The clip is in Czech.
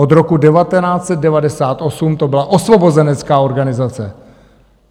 Od roku 1998 to byla osvobozenecká organizace.